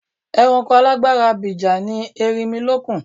Ẹranko alágbára abìjà ni erinmilókun.